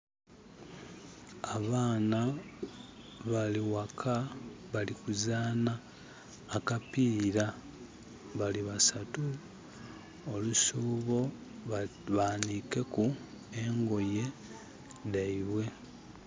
Abaana bali ghaka bali kuzanha akapiira, bali basatu. Olusuubo banikeku engoye dhaibwe.